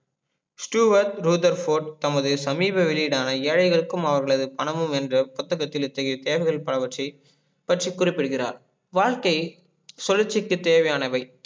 Stuart Rutherford தமது சமீப வெளியிடான ஏழைகளுக்கும் அவர்களது பணமும் என்ற புத்தகத்தில் இத்தகைய தேர்தல் பலவற்றில் பற்றி குறிப்பிடுகிறார் வாழ்கை சுழற்ச்சிக்கு தேவையானவை